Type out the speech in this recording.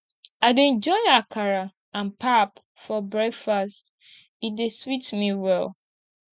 i dey enjoy akara and pap for breakfast e dey sweet me well